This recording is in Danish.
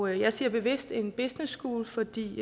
jeg siger bevidst en businesschool fordi